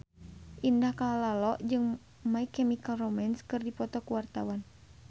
Indah Kalalo jeung My Chemical Romance keur dipoto ku wartawan